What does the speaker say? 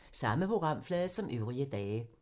Samme programflade som øvrige dage